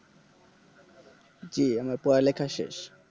জি আমার পড়ালেখা শেষ